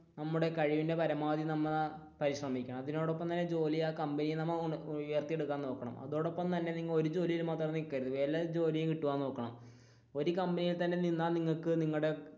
നമ്മുടെ കഴിവിന്റെ പരമാവധി നമ്മ പരിശ്രമിക്കണം അതിനോടപ്പം ഉയർത്തിയെടുക്കാൻ നോക്കണം അതോടൊപ്പം തന്നെ ഒരു കമ്പനിയിൽ തന്നെ നിന്നാൽ നിങ്ങൾക്ക് നിങ്ങളുടെ,